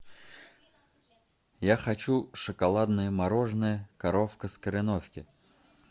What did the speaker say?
я хочу шоколадное мороженое коровка из кореновки